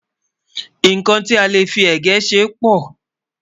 nkán tí a lè fí égẹ̀ ṣé pò